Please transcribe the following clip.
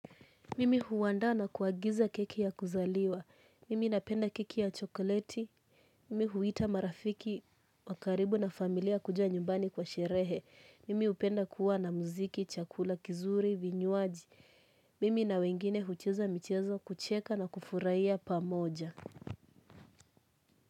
Mimi huwandaa na kuagiza keki ya kuzaliwa. Mimi napenda keki ya chokoleti. Mimi huwita marafiki, wakaribu na familia kuja nyumbani kwa sherehe. Mimi hupenda kuwa na muziki, chakula kizuri, vinywaji. Mimi na wengine hucheza michezo, kucheka na kufurahiya pamoja.